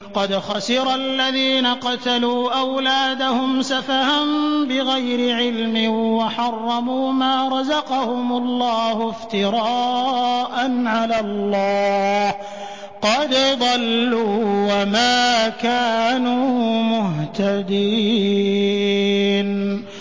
قَدْ خَسِرَ الَّذِينَ قَتَلُوا أَوْلَادَهُمْ سَفَهًا بِغَيْرِ عِلْمٍ وَحَرَّمُوا مَا رَزَقَهُمُ اللَّهُ افْتِرَاءً عَلَى اللَّهِ ۚ قَدْ ضَلُّوا وَمَا كَانُوا مُهْتَدِينَ